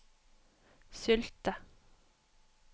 Sylte